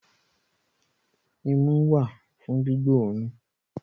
Imú wà fún gbígbóòrùn